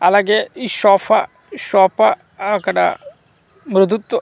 అలాగే ఈ sofa sofa అక్కడ తో .